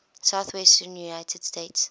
southwestern united states